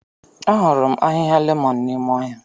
Ahụrụ m ahịhịa lemon n'ime ọhịa.